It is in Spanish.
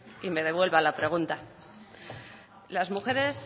y me devuelva la pregunta las mujeres